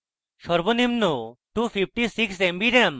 সর্বনিম্ন 256 mb ram